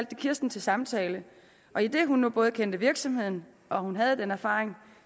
de kirsten til samtale og idet hun nu både kendte virksomheden og hun havde den erfaring